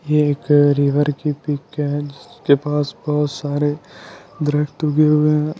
ये एक रिवर की पिक है जिसके बहुत सारे हुए है।